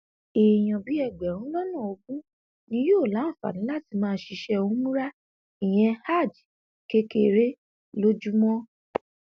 èèyàn bíi ẹgbẹrún lọnà ogún ni yóò láǹfààní láti máa ṣiṣẹ umra ìyẹn hajj kékeré lójúmọ